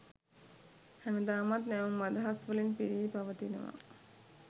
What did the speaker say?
හැමදාමත් නැවුම් අදහස් වලින් පිරි පවතිනවා.